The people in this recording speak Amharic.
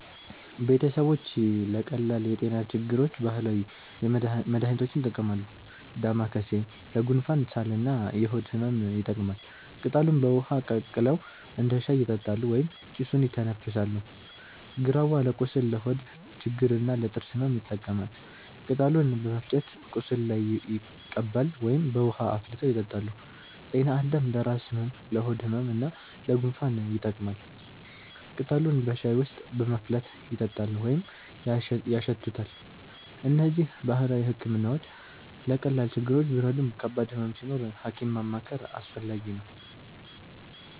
ቤተሰቦች ለቀላል የጤና ችግሮች ባህላዊ መድሃኒቶችን ይጠቀማሉ። ዳማከሴ ለጉንፋን፣ ሳል እና የሆድ ህመም ይጠቅማል። ቅጠሉን በውሃ ቀቅለው እንደ ሻይ ይጠጣሉ ወይም ጭሱን ይተነፍሳሉ። ግራዋ ለቁስል፣ ለሆድ ችግር እና ለጥርስ ህመም ይጠቀማል። ቅጠሉን በመፍጨት ቁስል ላይ ይቀባሉ ወይም በውሃ አፍልተው ይጠጣሉ። ጤናአዳም ለራስ ህመም፣ ለሆድ ህመም እና ለጉንፋን ይጠቅማል። ቅጠሉን በሻይ ውስጥ በማፍላት ይጠጣሉ ወይም ያሸቱታል። እነዚህ ባህላዊ ሕክምናዎች ለቀላል ችግሮች ቢረዱም ከባድ ህመም ሲኖር ሐኪም ማማከር አስፈላጊ ነው።